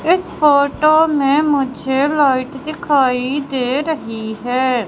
इस फोटो में मुझे लाइट दिखाई दे रही है।